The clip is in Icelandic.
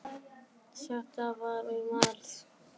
Þetta var í mars.